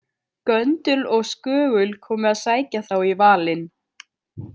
Göndul og Skögul komi að sækja þá í valinn.